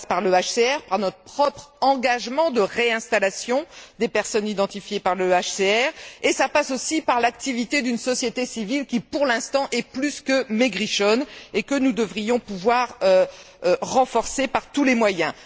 Cela passe par le HCR, par notre propre engagement de réinstallation des personnes identifiées par le HCR et cela passe aussi par l'activité d'une société civile qui, pour l'instant, est plus que maigrichonne et que nous devrions pouvoir renforcer par tous les moyens.